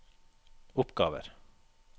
oppgaver